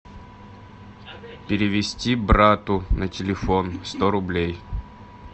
перевести брату на телефон сто рублей